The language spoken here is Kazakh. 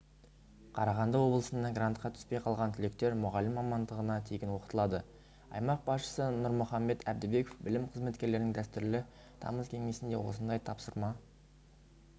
қарағанды облысында грантқа түспей қалған түлектер мұғалім мамандығына тегін оқытылады аймақ басшысы нұрмұхамбет әбдібеков білім қызметкерлерінің дәстүрлі тамыз кеңесінде осындай тапсырма